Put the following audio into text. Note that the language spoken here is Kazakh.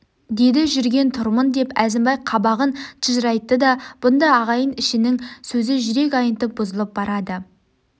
деді жүрген тұрмын деп әзімбай қабағын тыжырайтты да бұнда ағайын ішінің сөзі жүрек айнытып бүзылып барады